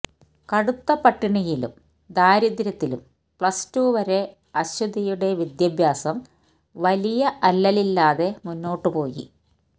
കടുത്ത പട്ടിണിയിലും ദാരിദ്രത്തിലും പ്ലസ്ടു വരെ അശ്വതിയുടെ വിദ്യാഭ്യാസം വലിയ അല്ലലില്ലാതെ മുന്നോട്ടു പോയി